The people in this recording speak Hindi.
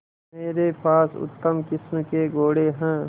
मेरे पास उत्तम किस्म के घोड़े हैं